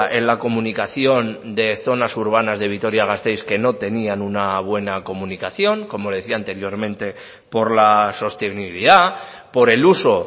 en la comunicación de zonas urbanas de vitoria gasteiz que no tenían una buena comunicación como le decía anteriormente por la sostenibilidad por el uso